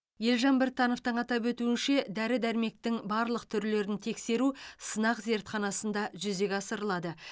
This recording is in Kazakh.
елжан біртановтың атап өтуінше дәрі дәрмектің барлық түрлерін тексеру сынақ зертханасында жүзеге асырылады